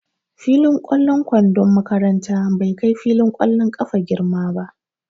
Fillin ƙwallon kwandon makaranta bai kai filin ƙwallon ƙafa girma ba.